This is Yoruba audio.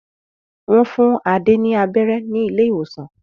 Wọ́n fún Adé ní abẹ́rẹ́ ní ilé-ìwòsàn.